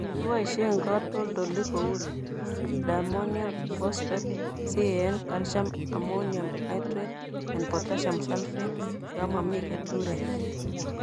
Kiboisien katoltolik kou Diammonium Phosphate, CAN (calcium ammonium nitrate and potassium sulphate) yon momi keturek